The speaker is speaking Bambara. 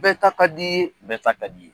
Bɛɛ ta ka di ye , bɛɛ ta ka di ye.